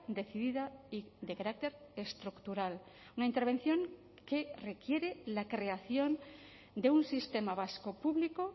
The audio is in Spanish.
decidida y de carácter estructural una intervención que requiere la creación de un sistema vasco público